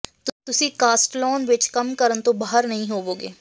ਤੁਸੀਂ ਕਾਸਟਲੌਨ ਵਿਚ ਕੰਮ ਕਰਨ ਤੋਂ ਬਾਹਰ ਨਹੀਂ ਹੋਵੋਗੇ